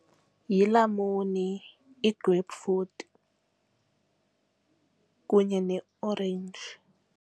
Yilamuni, i-grape fruit kunye neorenji.